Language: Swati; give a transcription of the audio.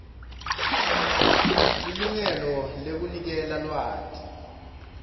lilungelo lekuniketa lwati